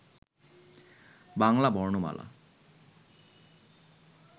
বাংলা বর্ণমালা